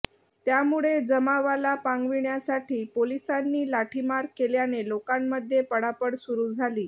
त्यामुळे जमावाला पांगविण्यासाठी पोलिसांनी लाठीमार केल्याने लोकांमध्ये पळापळ सुरू झाली